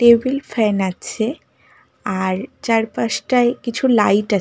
Table fan আছে। আর চারপাশটায় কিছু লাইট আছে।